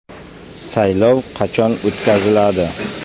Saylov qachon o‘tkaziladi?